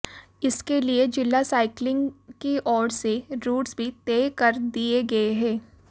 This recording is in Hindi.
इसके लिए जिला साइकिलिंग की ओर से रूट्स भी तय कर दिए गए हैं